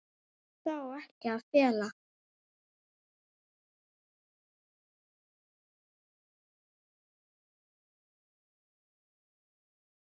Það á ekki að fela.